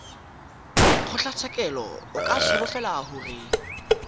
kgotlatshekelo o ka solofela gore